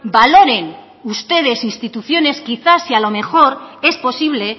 valoren ustedes instituciones quizás si a lo mejor es posible